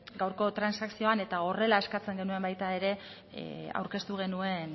gaurko transakzioan eta horrela eskatzen genuen baita ere aurkeztu genuen